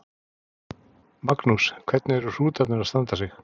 Magnús: Hvernig eru hrútarnir að standa sig?